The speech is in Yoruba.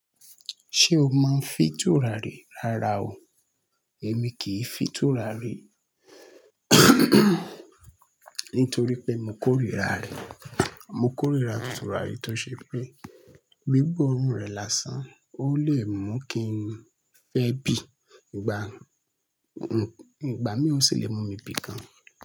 Ṣé o máa ń fi tùràrí rárá o. Èmi kì í fi tùràrí ntorí pé mo kórìíra rẹ̀. Mo kórìíra tùràrí to se pé gbígbọ́ òórùn rẹ̀ lásán ó lè mú kí n fẹ́ bì í, gba ngbà mì ó sì lè mú mi bì gàn.